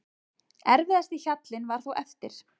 Erfiðasti hjallinn var þó eftir.